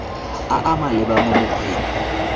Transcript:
a a maleba mo mokgweng